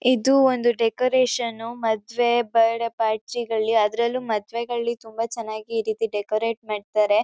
ಇದು ಒಂದು ಡೆಕೊರೇಶನ್ ಮದ್ವೆ ಬರ್ಡೇ ಪಾರ್ಟಿ ಗಳ್ಳಿ ಅದ್ರಲ್ಲೂ ಮದ್ವೆಗಳ್ಳಿ ತುಂಬಾ ಚೆನ್ನಾಗಿ ಈರೀತಿ ಡೆಕೊರೇಟ್ ಮಾಡ್ತಾರೆ.